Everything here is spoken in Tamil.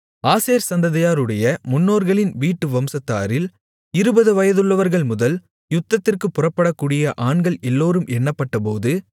ஆசேர் சந்ததியாருடைய முன்னோர்களின் வீட்டு வம்சத்தாரில் இருபது வயதுள்ளவர்கள் முதல் யுத்தத்திற்குப் புறப்படக்கூடிய ஆண்கள் எல்லோரும் எண்ணப்பட்டபோது